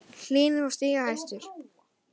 Hlynur var stigahæstur